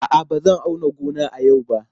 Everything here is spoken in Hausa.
A'a, ba zan auna gona a yau ba.